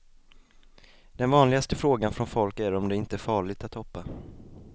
Den vanligaste frågan från folk är om det inte är farligt att hoppa.